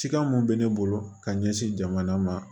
Sikan mun bɛ ne bolo ka ɲɛsin jamana ma